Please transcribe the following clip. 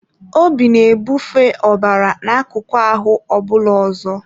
Obi na-ebufe ọbara n'akụkụ ahụ ọ bụla ọzọ.